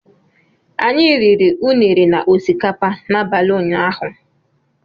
Anyị riri Unere na osikapa n'abalị ụnyaahụ